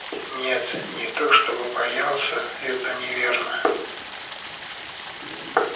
нет не то чтобы боялся это неверно